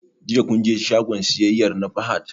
Jiya kun je shagon siyayyar na Fahad?